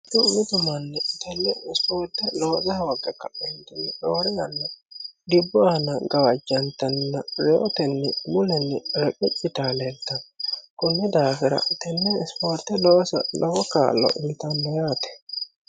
Mitu mitu manni tenne isipoorte loosa hoogge roore yanna dhibbu aana gawajantanninna rewoote mulenni reqeci yitayi leeltanno. Konni daafira tenne isipoorte loosa lowo kaa'lo uyiitawo yaate.